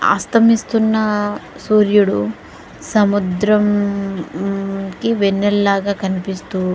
అస్తమిస్తున్న సూర్యుడు సముద్రాని కి వెన్నెల్లాగా కనిపిస్తు--